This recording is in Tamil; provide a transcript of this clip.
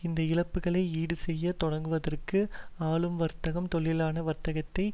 இந்த இழப்புக்களை ஈடு செய்ய தொடங்குவதற்கும் ஆளும்வர்க்கம் தொழிலாள வர்க்கத்தை